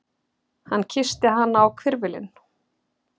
Hann kyssti hana á hvirfilinn.